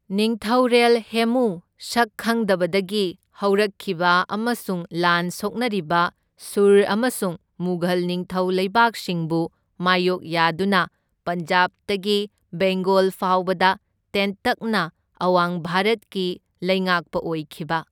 ꯅꯤꯡꯊꯧꯔꯦꯜ ꯍꯦꯃꯨ, ꯁꯛ ꯈꯪꯗꯕꯗꯒꯤ ꯍꯧꯔꯛꯈꯤꯕ ꯑꯃꯁꯨꯡ ꯂꯥꯟ ꯁꯣꯛꯅꯔꯤꯕ ꯁꯨꯔ ꯑꯃꯁꯨꯡ ꯃꯨꯘꯜ ꯅꯤꯡꯊꯧ ꯂꯩꯕꯥꯛꯁꯤꯡꯕꯨ ꯃꯥꯢꯌꯣꯛ ꯌꯥꯗꯨꯅ ꯄꯟꯖꯥꯕꯇꯒꯤ ꯕꯦꯡꯒꯣꯜ ꯐꯥꯎꯕꯗ ꯇꯦꯟꯇꯛꯅ ꯑꯋꯥꯡ ꯚꯥꯔꯠꯀꯤ ꯂꯩꯉꯥꯛꯄ ꯑꯣꯏꯈꯤꯕ꯫